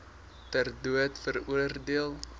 ter dood veroordeel